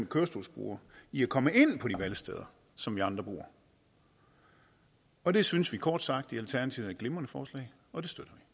kørestolsbrugere i at komme ind på de valgsteder som vi andre bruger og det synes vi kort sagt i alternativet er et glimrende forslag og